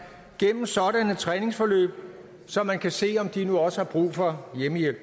gennem sådanne træningsforløb så man kan se om de nu også har brug for hjemmehjælp